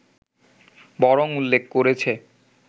বরং উল্লেখ করেছে